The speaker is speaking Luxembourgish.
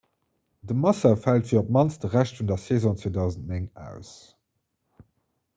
de massa fält fir op d'mannst de rescht vun der saison 2009 aus